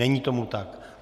Není tomu tak.